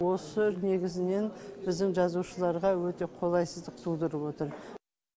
осы негізінен біздің жазушыларға өте қолайсыздық тудырып отыр